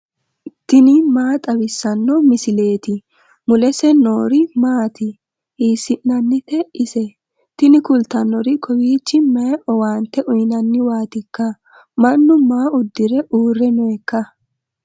tini maa xawissanno misileeti ? mulese noori maati ? hiissinannite ise ? tini kultannori kowiichi mayi owaante uyinanniwaatikka mannu maa uddire uurre nooikka